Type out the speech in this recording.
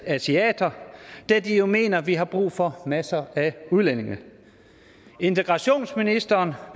asiater da de jo mener at vi har brug for masser af udlændinge integrationsministeren